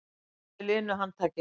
Hann heilsaði linu handtaki.